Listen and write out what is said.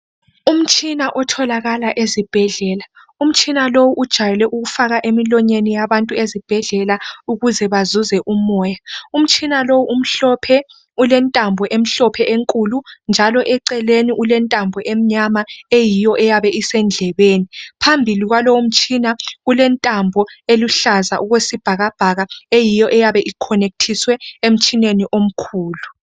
Umtshina otholakala ezibhedlela. Umtshina lowu ujwayele ukufakwa emlonyeni yabantu ezibhedlela ukuze bathole umoya. Umtshina lowu umhlophe, ulentambo emhlophe enkulu njalo eceleni ulentambo emnyama eyiyo isendlebeni. Phambi komtshina kulentambo eluhlaza eyiyo eyabe ikhonekithiswe emtshineni omkhulu.